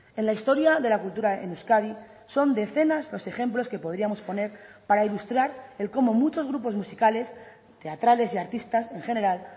en la historia de la cultura en euskadi son decenas los ejemplos que podríamos poner para ilustrar el cómo muchos grupos musicales teatrales y artistas en general